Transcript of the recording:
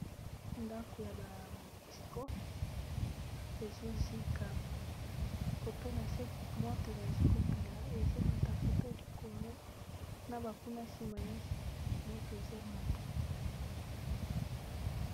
Ndako ya ba monusco ezo zika kotuna se moto bazi kopela ezo mata koto likolo na ba nkuna nsima nyonso moto ezo mata.